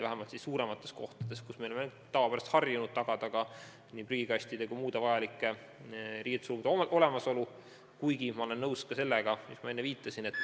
Aga suuremates kohtades on ju tavapäraselt harjutud tagama nii prügikastide kui ka riietuskabiinide olemasolu, nagu ma enne viitasin.